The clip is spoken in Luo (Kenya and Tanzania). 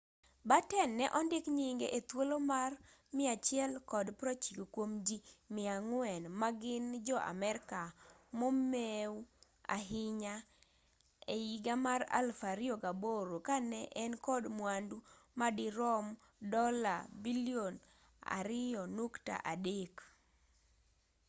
batten ne ondik nyinge e thuolo mar 190 kuom ji 400 ma gin jo-amerka momeu ahinya e higa mar 2008 ka ne en kod mwandu ma dirom dola bilion $2.3